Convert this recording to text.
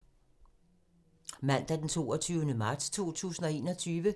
Mandag d. 22. marts 2021